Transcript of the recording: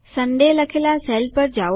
Sunday લખેલા sale પર જાઓ